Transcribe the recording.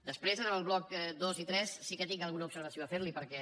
després en els blocs dos i tres sí que tinc alguna observació a fer li perquè